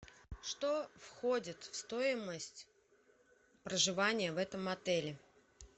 что входит в стоимость проживания в этом отеле